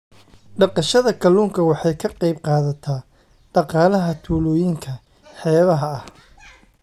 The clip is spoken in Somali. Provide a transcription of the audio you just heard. Dhaqashada kalluunku waxay ka qayb qaadataa dhaqaalaha tuulooyinka xeebaha ah.